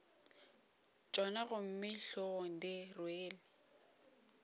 tšona gomme hlogong di rwele